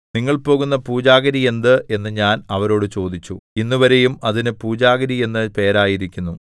നിങ്ങൾ പോകുന്ന പൂജാഗിരി എന്ത് എന്ന് ഞാൻ അവരോടു ചോദിച്ചു ഇന്നുവരെയും അതിന് പൂജാഗിരി എന്നു പേരായിരിക്കുന്നു